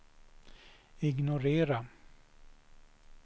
ignorera